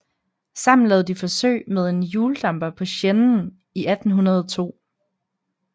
Sammen lavede de forsøg med en hjuldamper på Seinen i 1802